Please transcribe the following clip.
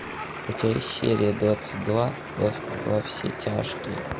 у тебя есть серия двадцать два во все тяжкие